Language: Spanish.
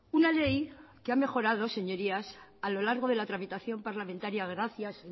una ley que ha mejorado señorías a lo largo de la tramitación parlamentaria gracias